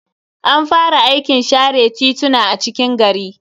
An fara aikin share tituna a cikin gari.